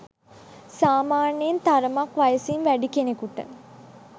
සාමාන්‍යයෙන් තරමක් වයසින් වැඩි කෙනෙකුට